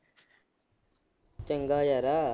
ਚੰਗਾ ਯਾਰ।